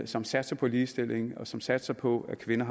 som satser på ligestilling og som satser på at kvinder